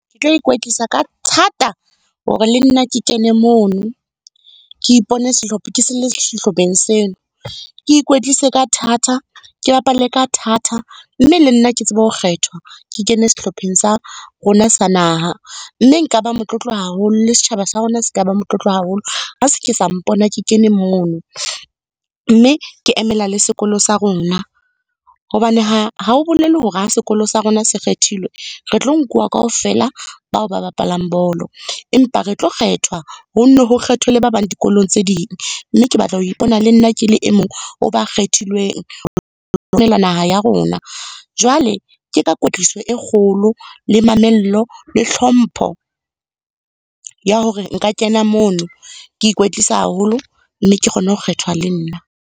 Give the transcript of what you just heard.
Ke tlo ikwetlisa ka thata hore le nna ke kene mono. Ke ipone ke le sehlopheng seno. Ke ikwetlise ka thata, ke bapale ka thata mme le nna ke tsebe ho kgethwa, ke kene sehlopheng sa rona sa naha. Mme nka ba motlotlo haholo, le setjhaba sa rona se ka ba motlotlo haholo ha se ke sa mpona ke kene mono, mme ke emela le sekolo sa rona. Hobane ha ho bolele hore ha sekolo sa rona se kgethilwe, re tlo nkuwa kaofela bao ba bapalang bolo, empa re tlo kgethwa ho ho kgethwe le ba bang dikolong tse ding. Mme ke batla ho ipona le nna ke le e mong ho ba kgethilweng ho emela naha ya rona. Jwale ke ka kwetliso e kgolo le mamello le hlompho ya hore nka kena mono, ke ikwetlise haholo mme ke kgone ho kgethwa le nna.